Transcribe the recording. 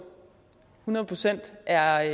hundrede procent er